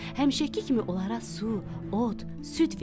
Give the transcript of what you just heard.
Həmişəki kimi onlara su, ot, süd verdi.